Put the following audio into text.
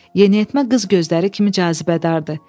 Yeniyetmə qız gözləri kimi cazibədardır.